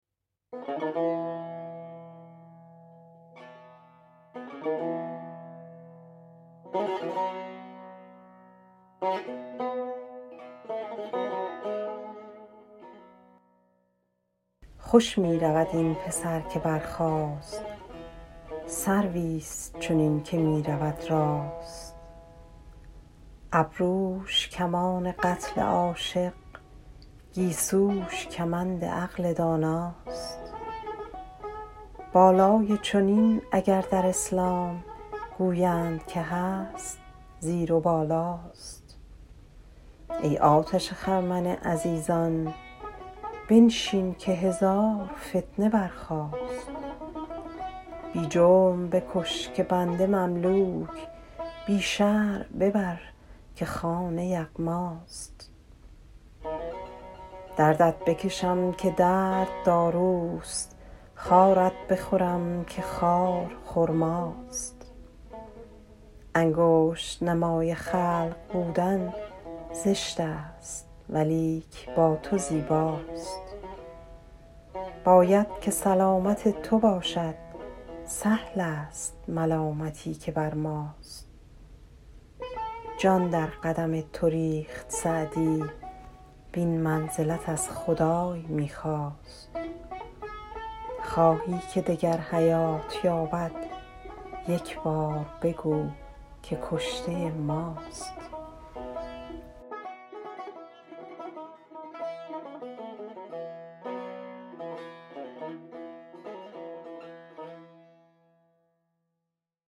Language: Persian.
خوش می رود این پسر که برخاست سرویست چنین که می رود راست ابروش کمان قتل عاشق گیسوش کمند عقل داناست بالای چنین اگر در اسلام گویند که هست زیر و بالاست ای آتش خرمن عزیزان بنشین که هزار فتنه برخاست بی جرم بکش که بنده مملوک بی شرع ببر که خانه یغماست دردت بکشم که درد داروست خارت بخورم که خار خرماست انگشت نمای خلق بودن زشت است ولیک با تو زیباست باید که سلامت تو باشد سهل است ملامتی که بر ماست جان در قدم تو ریخت سعدی وین منزلت از خدای می خواست خواهی که دگر حیات یابد یک بار بگو که کشته ماست